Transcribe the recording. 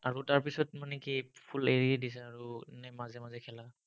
আৰু তাৰ পিছত মানে কি full এৰিয়ে দিছা, নে মাজে মাজে খেলা?